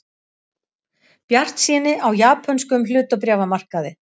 Bjartsýni á japönskum hlutabréfamarkaði